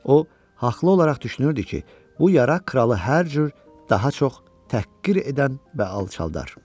O haqlı olaraq düşünürdü ki, bu yara kralı hər cür daha çox təhqir edən və alçaldar.